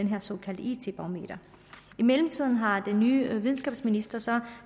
her såkaldte it barometer i mellemtiden har den nye videnskabsminister så